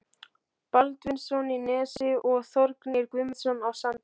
Baldvinsson í Nesi og Þórgnýr Guðmundsson á Sandi.